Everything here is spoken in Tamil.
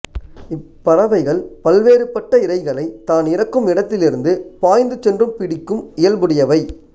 இப்பறவைகள் பல்வேறுபட்ட இரைகளை தான் இருக்கும் இடத்தில் இருந்து பாய்ந்து சென்று பிடிக்கும் இயல்புடையவை